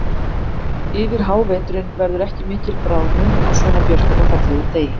Yfir háveturinn verður ekki mikil bráðnun á svona björtum og fallegum degi.